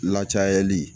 Lacayali